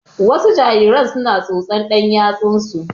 Wasu jariran su na tsotsan ɗan yatsan su